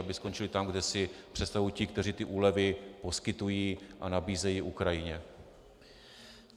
Aby skončily tam, kde si představují ti, kteří ti úlevy poskytují a nabízejí Ukrajině.